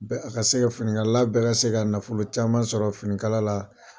Bɛ a ka se ka fini kala bɛ ka se ka nafolo caman sɔrɔ finikala la.